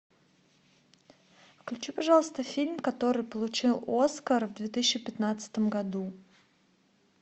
включи пожалуйста фильм который получил оскар в две тысячи пятнадцатом году